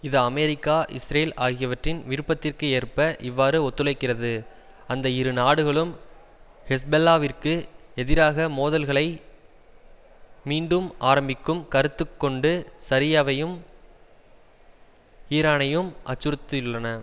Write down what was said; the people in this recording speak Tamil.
இது அமெரிக்கா இஸ்ரேல் ஆகியவற்றின் விருப்பத்திற்கு ஏற்ப இவ்வாறு ஒத்துழைக்கிறது அந்த இரு நாடுகளும் ஹெஸ்பெல்லாவிற்கு எதிராக மோதல்களை மீண்டும் ஆரம்பிக்கும் கருத்து கொண்டு சரியவையும் ஈரானையும் அச்சுறுத்தியுள்ளன